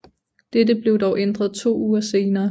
Dette blev dog ændret to uger senere